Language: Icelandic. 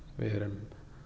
við erum